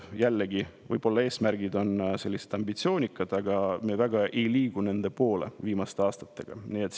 Jällegi on eesmärgid võib-olla ambitsioonikad, aga me ei ole nende poole viimaste aastatega väga liikunud.